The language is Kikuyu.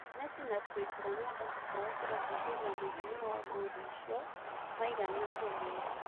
Mesi na Chris Ronando matiahotire kũingĩria mũigana wa ngũru icio maigana-uguo.